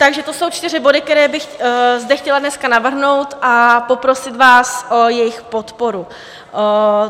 Takže to jsou čtyři body, které bych zde chtěla dneska navrhnout, a poprosit vás o jejich podporu.